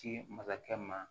Ci masakɛ ma